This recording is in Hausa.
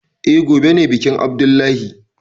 Eh, gobe ne bikin abdullahi